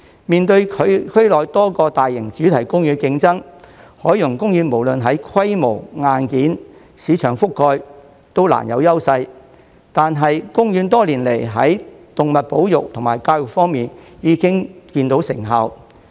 面對區內多個大型主題公園的競爭，海洋公園無論在規模、硬件、市場覆蓋都難有優勢，但公園多年來在動物保育及教育方面已見成效。